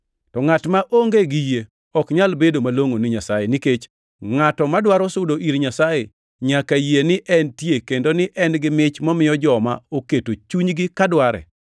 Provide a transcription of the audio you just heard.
To ngʼat maonge gi yie ok nyal bedo malongʼo ni Nyasaye, nikech ngʼato madwaro sudo ir Nyasaye nyaka yie ni entie kendo ni en-gi mich momiyo joma oketo chunygi ka dware.